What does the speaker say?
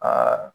Aa